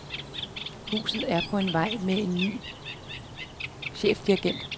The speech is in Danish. Huset er på vej med en ny chefdirigent.